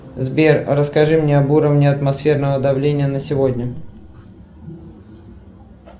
сбер расскажи мне об уровне атмосферного давления на сегодня